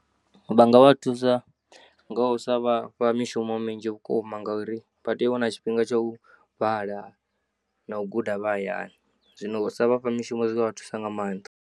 Vha nga vha thusa ngau sa vhafha mishumo minzhi vhukuma gauri vhatea uwana tshifhinga tsha u vhala na u guda vha hayani, zwino u sa vhafha mushumo zwivha thusa nga maanḓa.